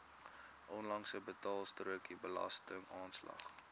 onlangse betaalstrokie belastingaanslag